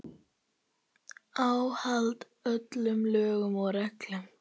Óháð öllum lögum og reglum.